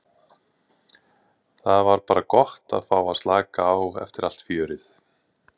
Það var bara gott að fá að slaka á eftir allt fjörið.